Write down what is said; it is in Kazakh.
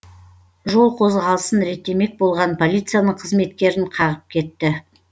жол қозғалысын реттемек болған полицияның қызметкерін қағып кетті